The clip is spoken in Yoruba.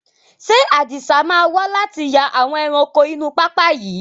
Ṣé Adisa máa wà láti yà àwọn ẹranko inú pápá yìí?